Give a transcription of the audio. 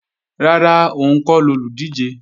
Rárá, òun kọ́ lolùdíje